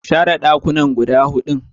Kashare ɗakunanan guda huɗun.